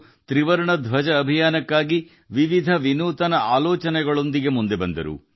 ತ್ರಿವರ್ಣ ಧ್ವಜ ಪ್ರಚಾರಕ್ಕಾಗಿ ಜನರು ವಿಭಿನ್ನ ವಿನೂತನ ಐಡಿಯಾಗಳೊಂದಿಗೆ ಬಂದರು